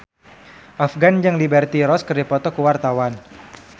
Afgan jeung Liberty Ross keur dipoto ku wartawan